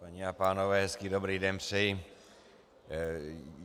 Paní a pánové, hezký dobrý den přeji.